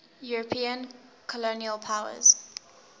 european colonial powers